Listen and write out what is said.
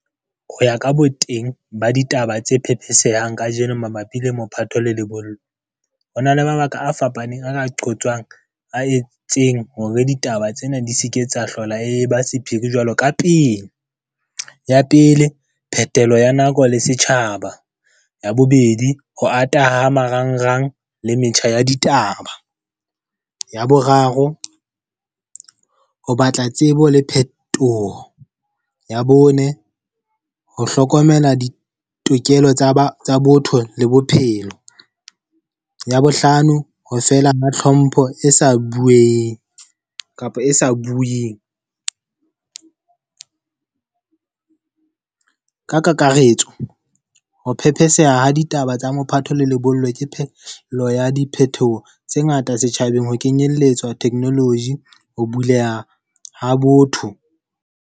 Ho ya ka boteng ba ditaba tse phetheselang ka jeno mabapi le mophatho le lebollo. Ho na le mabaka a fapaneng a ka qojwang, a entseng hore ditaba tsena di seke tsa hlola e ba sephiri jwalo ka pele. Ya pele, phethelo ya nako le setjhaba. Ya bobedi ho ata ha marangrang le metjha ya ditaba. Ya boraro ho batla tsebo le phetoho. Ya bone ho hlokomela ditokelo tsa botho le bophelo. Ya bohlano, ho fela ha tlhompho e sa bueng kapa e sa bueng ka kakaretso, ho phepheseha ha ditaba tsa mophatho le lebollo ke phehlo ya diphethoho tse ngata setjhabeng. Ho kenyelletswa technology, ho buleha ha botho.